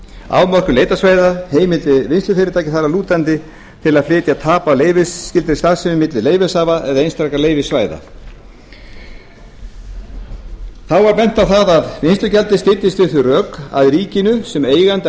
afmörkun leitarsvæða heimildir vinnslufyrirtækja þar að lútandi til að flytja tap af leyfisskyldri starfsemi milli leyfishafa eða einstakra leyfissvæða þá var bent á að vinnslugjaldið styddist við þau rök að ríkinu sem eiganda